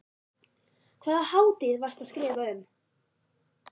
Hvaða hátíð varstu að skrifa um?